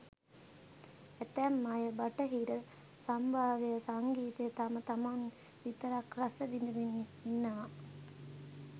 ඇතැම් අය බටහිර සම්භාව්‍ය සංගීතය තම තමන් විතරක් රස විඳිමින් ඉන්නවා.